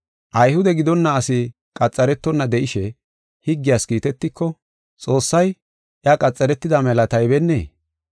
Ayhude gidonna asi qaxaretonna de7ishe, higgiyas kiitetiko, Xoossay iya qaxaretida mela taybennee?